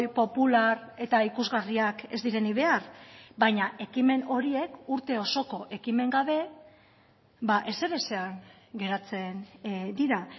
popular eta ikusgarriak ez direnik behar baina ekimen horiek urte osoko ekimen gabe ezerezean geratzen dira